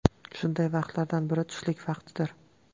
Shunday vaqtlardan biri – tushlik vaqtidir.